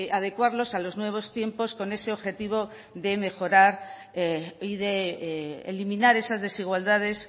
adecuarlos a los nuevos tiempos con ese objetivo de mejorar y de eliminar esas desigualdades